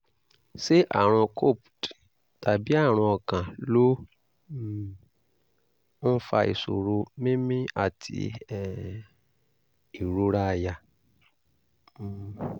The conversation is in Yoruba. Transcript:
ṣé àrùn copd tàbí àrùn ọkàn ló um ń fa ìṣòro mímí àti um ìrora àyà? um